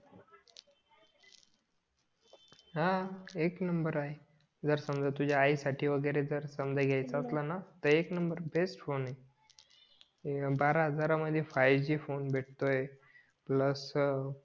हां एक नंबर आहे जर समझा तुझ्या आई साठी वगैरे जर समझा घेयचा असला तर एक नंबर बेस्ट फोन आहे बारा हजार मध्ये फाय जी फोन भेटतोय प्लस अं